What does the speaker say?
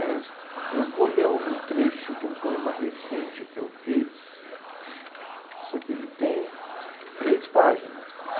É. Eu vou ler um trecho de um poema recente que eu fiz, só que ele tem três páginas.